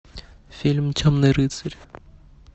фильм темный рыцарь